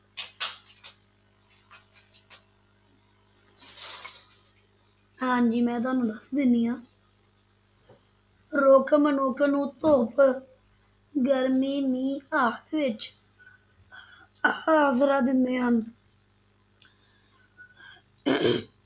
ਹਾਂਜੀ ਮੈਂ ਤੁਹਾਨੂੰ ਦੱਸ ਦਿੰਦੀ ਹਾਂ ਰੁੱਖ ਮਨੁੱਖ ਨੂੰ ਧੁੱਪ, ਗਰਮੀ, ਮੀਂਹ ਆਦਿ ਵਿਚ ਆਸਰਾ ਦਿੰਦੇ ਹਨ